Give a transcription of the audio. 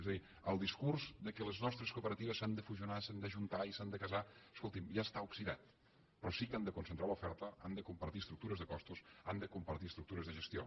és a dir el discurs que les nostre cooperatives s’han de fusionar i s’han d’ajuntar i s’han de casar escolti’m ja està oxidat però sí que han de concentrar l’oferta han de compartir estructures de costos han de compartir estructures de gestió